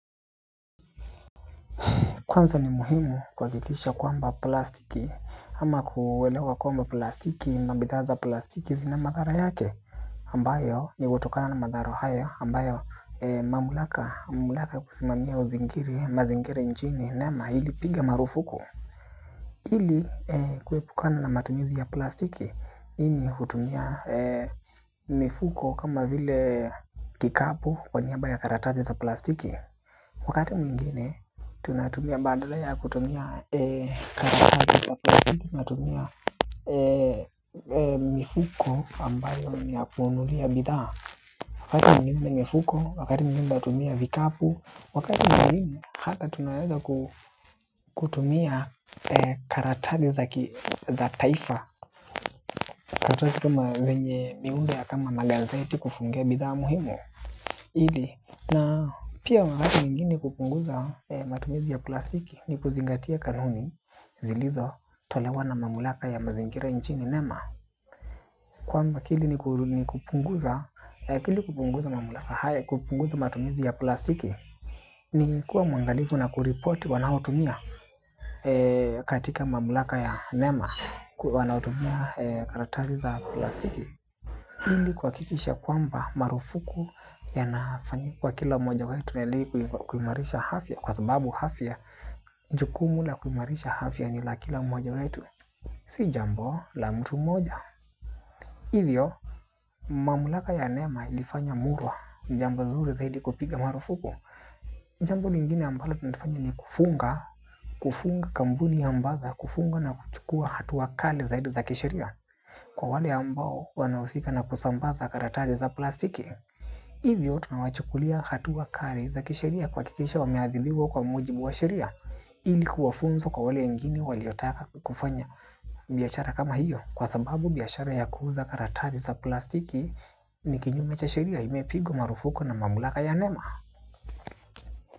Kwanza ni muhimu kuhakikisha kwamba plastiki ama kuelewa kwamba plastiki na bidhaa za plastiki zina madhara yake ambayo ni kutokana na madhara hayo ambayo mamlaka wa kusimamia mazingira nchini nema ilipiga marufuku ili kuepukana na matumizi ya plastiki hivyo hutumia mifuko kama vile kikapu kwa niaba ya karatasi za plastiki. Wakati mwingine, tunatumia badala ya kutumia karatasi za plastiki, tunatumia mifuko ambayo ni ya kununulia bidhaa. Wakati mwingine mifuko, wakati mwingine tunatumia vikapu, wakati mwingine hata tunaweza kutumia karatasi za taifa. Karatasi kama zenye miundo ya kama magazeti kufungia bidhaa muhimu ili na pia wakati mwingine kupunguza matumizi ya plastiki ni kuzingatia kanuni zilizotolewa na mamlaka ya mazingira nchini nema kwamba ili kupunguza mamlaka haya kupunguza matumizi ya plastiki ni kuwa mwangalifu na kuripoti wanaoutumia katika mamlaka ya nema wanatumia karatasi za plastiki ili kuhakikisha kwamba marufuku yanafanyika kwa kila moja wetu ili kuimarisha afya kwa sababu afya. Jukumu la kuimarisha afya ni la kila mmoja wetu. Si jambo la mtu mmoja. Hivyo mamlaka ya nema ilifanya murua jambo zuri zaidi kupiga marufuku. Jambo lingine ambalo tunalifanya ni kufunga. Kufunga kampuni na mpaka kufunga na kuchukua hatua kali zaidi za kisheria. Kwa wale ambao wanahusika na kusambaza karatasi za plastiki, hivyo tunawachukulia hatua kali za kisheria kuhakikisha wameadhibiwa kwa mujibu wa sheria ili kuwa funzo kwa wale wengine waliotaka kufanya. Biashara kama hiyo kwa sababu biashara ya kuuza karatasi za plastiki ni kinyume cha sheria imepigwa marufuku na mamlaka ya nema.